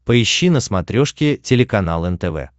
поищи на смотрешке телеканал нтв